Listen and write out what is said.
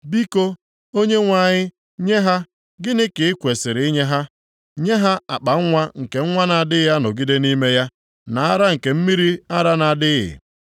Biko, Onyenwe anyị nye ha. Gịnị ka i kwesiri inye ha? Nye ha akpanwa nke nwa na-adịghị anọgide nʼime ya, na ara nke mmiri ara na-adịghị.